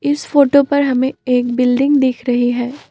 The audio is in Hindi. इस फोटो पर हमें एक बिल्डिंग दिख रही है।